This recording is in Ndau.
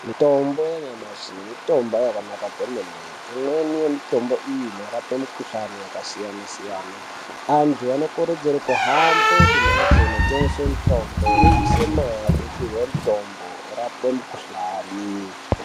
Mitombo yanyamashi mitombo yakanaka kwemene imweni yemitombo iyi inorapa mikuhlani yakasiyana-siyana antu anokurudzirwa kumhanye kumbatso inotengeswa mitombo yodusa mare vopihwa nitombo yorapa mikuhlani.